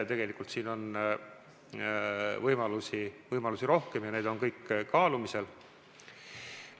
Tegelikult on võimalusi rohkem ja need on kõik kaalumisel.